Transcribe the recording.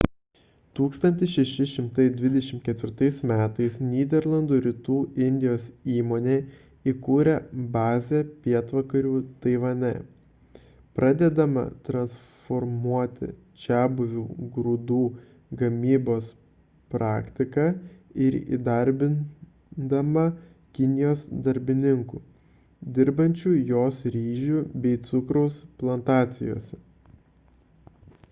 1624 m nyderlandų rytų indijos įmonė įkūrė bazę pietvakarių taivane pradėdama transformuoti čiabuvių grūdų gamybos praktiką ir įdarbindama kinijos darbininkų dirbsiančių jos ryžių bei cukraus plantacijose